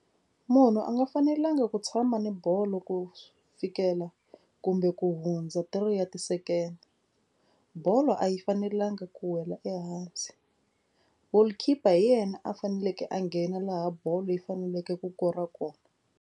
Munhu a nga fanelangi ku tshama ni bolo ku fikela kumbe ku hundza three ya ti-second. Bolo a yi fanelanga ku wela ehansi. Goal keeper hi yena a faneleke a nghena laha bolo leyi faneleke ku kora kona.